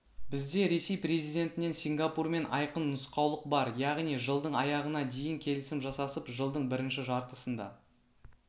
бізде ресей президентінен сингапурмен айқын нұсқаулық бар яғни жылдың аяғына дейін келісім жасасып жылдың бірінші жартысында